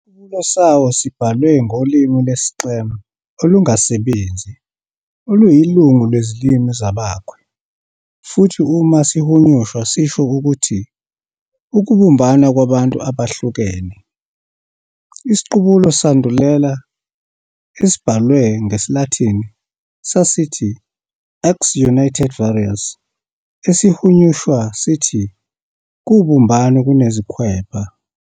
Isiqubulo sawo sibhalwe ngolimi lesi-Xam olungasebenzi, oluyilungu lwezilimi zabaKhwe, futhi uma sihunyushwa sisho ukuthi "ukubumbana kwabantu abahlukene". isiqubulo esandulele, esibhalwe bgesilathini sasithi "Ex Unitate Vires", esihunyuswa sithi "kubumbano, kunezikhwepha".